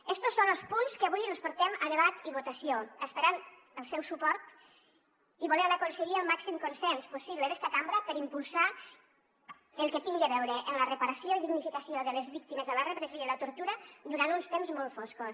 estos són los punts que avui els portem a debat i votació esperant el seu suport i volent aconseguir el màxim consens possible d’esta cambra per impulsar el que tingui a veure amb la reparació i dignificació de les víctimes de la repressió i la tortura durant uns temps molt foscos